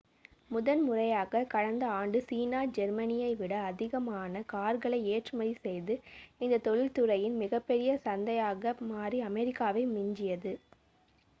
முதன்முறையாக கடந்த ஆண்டு சீனா ஜெர்மனியை விட அதிகமான கார்களை ஏற்றுமதி செய்து இந்தத் தொழில்துறையின் மிகப்பெரிய சந்தையாக மாறி அமெரிக்காவை மிஞ்சியது